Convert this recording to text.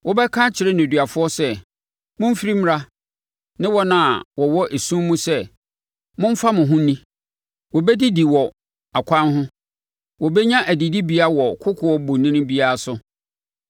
Wobɛka akyerɛ nneduafoɔ sɛ, ‘Momfiri mmra!’ ne wɔn a wɔwɔ esum mu sɛ, ‘Momfa mo ho nni!’ “Wɔbɛdidi wɔ akwan ho. Wɔbɛnya adidibea wɔ kokoɔ bonini biara so.